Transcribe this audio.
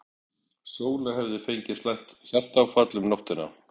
Sóla hefði fengið slæmt hjartaáfall um nóttina.